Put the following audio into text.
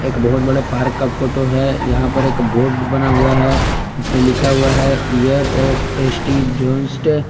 एक बहुत बड़े पार्क का फोटो है यहां पर एक बोर्ड बना हुआ है उसमें लिखा हुआ है ईयर ऑफ एस_टी जॉनस्ट